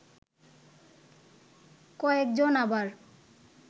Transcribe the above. কয়েক জন আবার